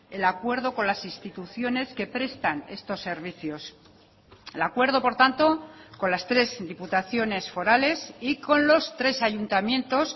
el acuerdo con las instituciones que prestan estos servicios el acuerdo por tanto con las tres diputaciones forales y con los tres ayuntamientos